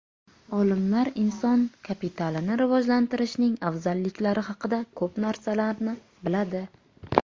Olimlar inson kapitalini rivojlantirishning afzalliklari haqida ko‘p narsalarni biladi.